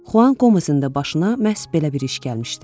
Xuan Qomezin də başına məhz belə bir iş gəlmişdi.